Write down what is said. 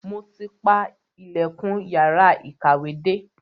Mo ti pa ilẹ̀kùn yàrá ìkàwé dé.